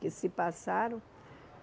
Que se passaram.